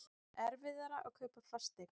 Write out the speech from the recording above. Erfiðara að kaupa fasteign